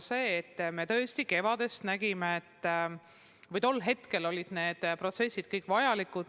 Me tõesti kevadel nägime, et tol hetkel olid need protsessid kõik vajalikud.